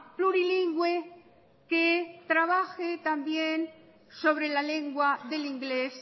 plurilingüe que trabaje también sobre la lengua del inglés